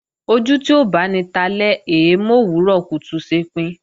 Ojú tí ó báni talẹ́ è é mòwúrọ̀ kùtù ṣepin